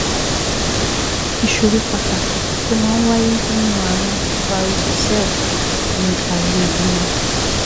Ìṣòro pàtàkì tó máa ń wáyé nínú ààrùn varicocele ni àìlèbímọ